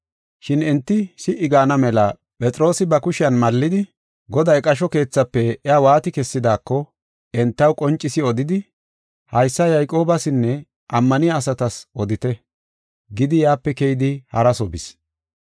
Shin enti si77i gaana mela Phexroosi ba kushiyan mallidi Goday qasho keethafe iya waati kessidaako entaw qoncisi odidi, “Haysa Yayqoobasinne ammaniya asatas odite” gidi yaape keyidi haraso bis.